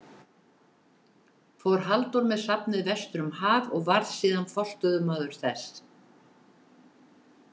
Fór Halldór með safnið vestur um haf og varð síðan forstöðumaður þess.